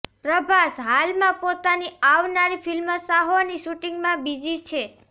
પ્રભાસ હાલમાં પોતાની આવનારી ફિલ્મ સાહોની શૂટિંગમાં બિઝી છે